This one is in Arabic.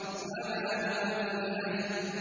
وَمَا هُوَ بِالْهَزْلِ